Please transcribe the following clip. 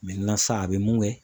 sisan a bɛ mun kɛ.